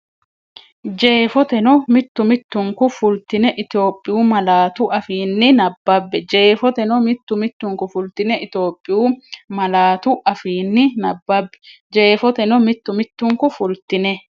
Jeefoteno mittu mittunku fultine Itophiyu malaatu afiinni nabbabbe Jeefoteno mittu mittunku fultine Itophiyu malaatu afiinni nabbabbe Jeefoteno mittu mittunku fultine.